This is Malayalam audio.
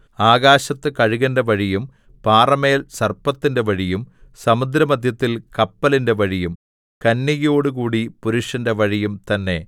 ആകാശത്ത് കഴുകന്റെ വഴിയും പാറമേൽ സർപ്പത്തിന്റെ വഴിയും സമുദ്രമദ്ധ്യത്തിൽ കപ്പലിന്റെ വഴിയും കന്യകയോടുകൂടി പുരുഷന്റെ വഴിയും തന്നെ